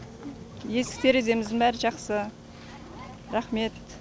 есік тереземіздің бәрі жақсы рахмет